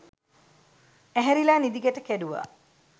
ඇහැරිලා නිදි ගැට කැඩුවා